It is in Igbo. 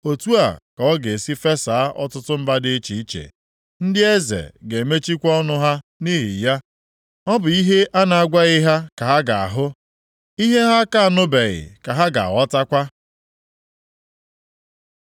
Otu a ka ọ ga-esi fesaa ọtụtụ mba dị iche iche, + 52:15 Maọbụ, otu a ka ọtụtụ mba dị iche iche ga-anọ na mgbagwoju anya. ndị eze ga-emechikwa ọnụ ha nʼihi ya, ọ bụ ihe a na-agwaghị ha ka ha ga-ahụ, ihe ha a ka anụbeghị, ka ha ga-aghọtakwa.